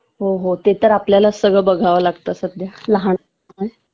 हो हो ते तर आपल्यालाच सगळं बघावं लागतं सध्या लहान आहेत त्यामुळे